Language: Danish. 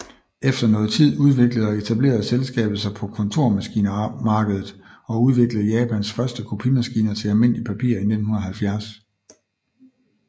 Efter noget tid udviklede og etablerede selskabet sig på kontormaskinemarkedet og udviklede Japans første kopimaskiner til almindeligt papir i 1970